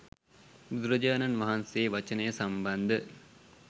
බුදුරජාණන් වහන්සේ වචනය සම්බන්ධ